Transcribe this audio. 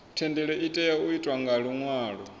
thendelo itea u itwa nga luṅwalo